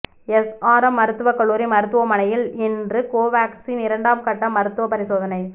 SRM மருத்துவக்கல்லூரி மருத்துவமனையின் இன்று கோவாக்சின் இரண்டாம் கட்ட மருத்துவ பரிசோதனை